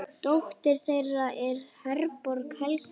Dóttir þeirra er Herborg Helga.